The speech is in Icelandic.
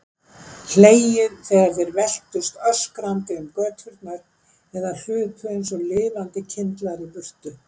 Hlegið þegar þeir veltust öskrandi um göturnar eða hlupu einsog lifandi kyndlar í burtu.